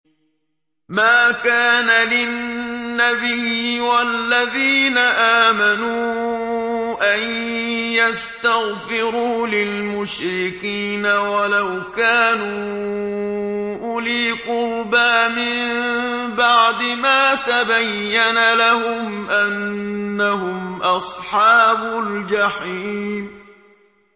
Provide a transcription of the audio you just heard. مَا كَانَ لِلنَّبِيِّ وَالَّذِينَ آمَنُوا أَن يَسْتَغْفِرُوا لِلْمُشْرِكِينَ وَلَوْ كَانُوا أُولِي قُرْبَىٰ مِن بَعْدِ مَا تَبَيَّنَ لَهُمْ أَنَّهُمْ أَصْحَابُ الْجَحِيمِ